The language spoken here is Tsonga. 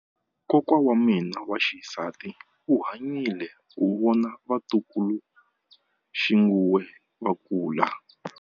Kokwa wa mina wa xisati u hanyile ku vona vatukuluxinghuwe va kula.